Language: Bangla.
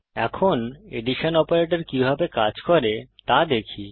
এখন এডিশন অপারেটর কিভাবে কাজ করে তা দেখি